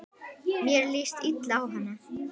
Mér líst illa á hana.